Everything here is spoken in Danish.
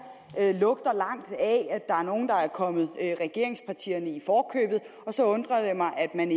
lugter langt væk af der er nogen der er kommet regeringspartierne i forkøbet og så undrer det mig at man